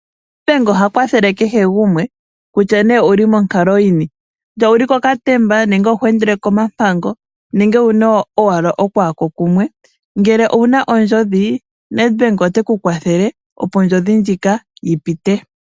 Nedbank oha kwathele kehe gumwe kutya nee owuli monkalo yini . Kutya owuli kokatemba nenge oho endelele komampango nenge owuna okwaako kumwe . Ngele owuna ondjodhi Nedbank oteku kwathele opo ondjodhi ndjika yi pite.